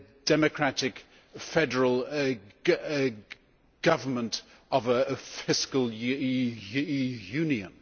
democratic, federal government of a fiscal union.